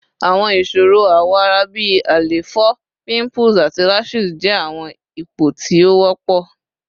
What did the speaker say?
Awọn iṣoro awọ ara bi àléfọ, pimples, ati rashes jẹ awọn ipo ti o wọpọ